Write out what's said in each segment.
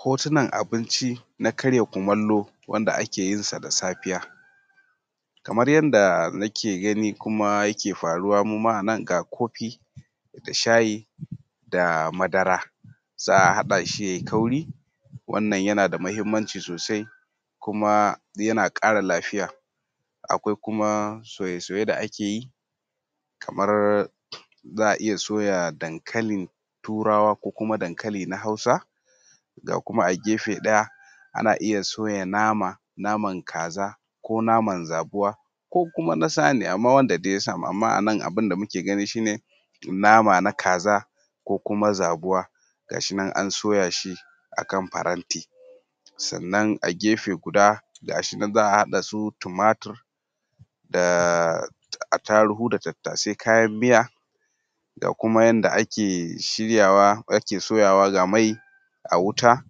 Hotunan abinci na karya kumallo wanda ake yinsa da safiya. Kamar yadda nake gani kuma yake faruwa, muma a nan ga kofi, da shayi, da madara, za a haɗa shi yayi kauri wannan yana da muhimmanci sosai, kuma yana ƙara lafiya. Akwai kuma soye soye da ake yi, kamar za a iya soya dankalin turawa ko kuma dankali na hausa, ga kuma a gefe ɗaya ana iya soya nama ko naman kaza, ko naman zabuwa, ko na saniya, amma wanda dai ya samu. Amma a nan abun da muke gani shi ne nama na kaza ko kuma zabuwa gashi nan an soya shi akan faranti, sannan a gefe guda gashi nan za a haɗa su tumatir da atarugu, da tattasai kayan miya ga kuma yadda ake shiryawa, ake soyawa, ga mai a wuta,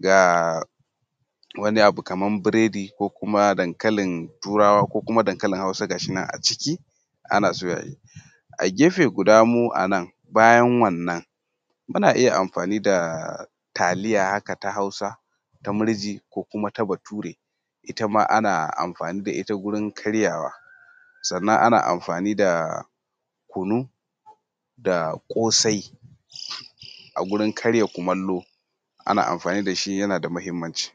ga wani abu kaman biredi ko kuma dankalin turawa ko kuma dankalin hausa gashinan a ciki ana soyawa. A gefe guda mu a nan bayan wannan muna iya amfani da taliya haka ta hausa ta murji, ko kuma ta bature, ita ma ana amfani da ita wajan karyawa, sannan ana amfani da kunu da ƙosai a gurin karya kumallo. Ana amfani da shi yana da muhimmanci.